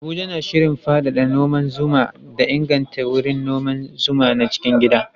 Abuja na shirin faɗaɗa noman zuma da inganta wurin noman zuman na cikin gida